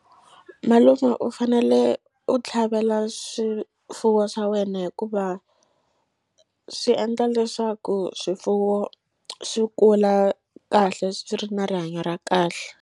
Malume u fanele u tlhavela swifuwo swa wena hikuva swi endla leswaku swifuwo swi kula kahle swi ri na rihanyo ra kahle.